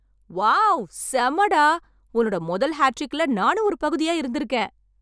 Wow! செம்ம டா. உன்னோட முதல் ஹாட்ரிக்குல நானும் ஒரு பகுதியா இருந்திருக்கேன்!